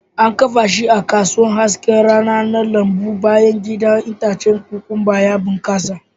An kafa shi a kusurwar hasken rana na lambun bayan gida, itacen kokwamba ya bunƙasa